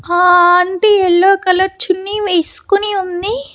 ఆ aunty yellow colour చున్నీ వేసుకుని ఉంది.